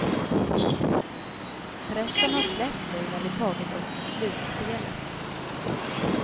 Pressen har släppt nu när vi tagit oss till slutspelet.